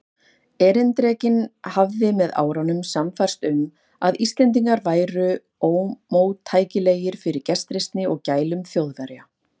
Erindrekinn hafði með árunum sannfærst um, að Íslendingar væru ómóttækilegir fyrir gestrisni og gælum Þjóðverja.